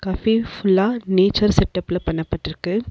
Cafe ஃபுல்லா nature செட்டப்ல பண்ண பட்ருக்கு.